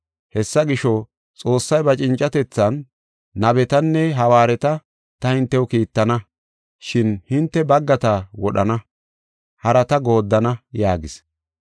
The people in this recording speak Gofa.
Hessa gisho, Xoossay ba cincatethan, ‘Nabetanne hawaareta ta hintew kiittana, shin hinte baggata wodhana; harata gooddana’ yaagis.